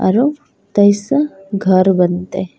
औरो कैसअ घर बनते।